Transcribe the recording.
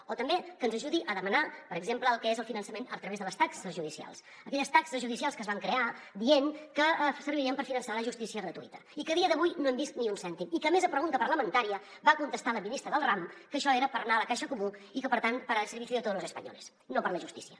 o també que ens ajudi a demanar per exemple el que és el finançament a través de les taxes judicials aquelles taxes judicials que es van crear dient que servirien per finançar la justícia gratuïta i que a dia d’avui no hem vist ni un cèntim i que a més a pregunta parlamentària va contestar la ministra del ram que això era per anar a la caixa comú i que per tant para el servicio de todos los españoles no per la justícia